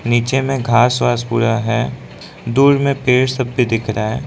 नीचे में घास वास पूरा है दूर में पेड़ सब भी दिख रहा है।